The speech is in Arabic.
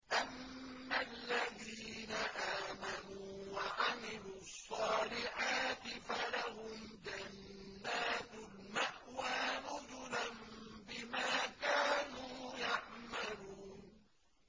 أَمَّا الَّذِينَ آمَنُوا وَعَمِلُوا الصَّالِحَاتِ فَلَهُمْ جَنَّاتُ الْمَأْوَىٰ نُزُلًا بِمَا كَانُوا يَعْمَلُونَ